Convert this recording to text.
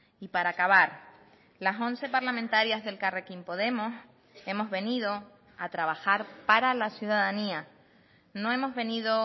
y para acabar las once parlamentarias de elkarrekin podemos hemos venido a trabajar para la ciudadanía no hemos venido